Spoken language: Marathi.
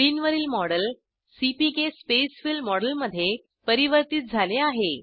स्क्रीनवरील मॉडेल सीपीके स्पेसफिल मॉडेलमध्ये परिवर्तीत झाले आहे